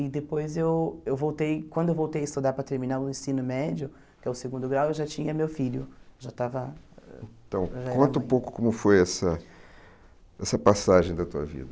E depois eu eu voltei, quando eu voltei a estudar para terminar o ensino médio, que é o segundo grau, eu já tinha meu filho, já estava... Então, conta um pouco como foi essa essa passagem da tua vida.